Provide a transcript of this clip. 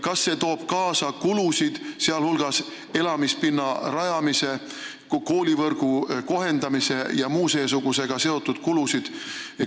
Kas see toob kaasa kulusid, sh elamispinna rajamise, koolivõrgu kohendamise ja muu seesugusega seotud kulusid?